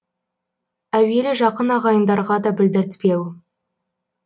әуелі жақын ағайындарға да білдіртпеу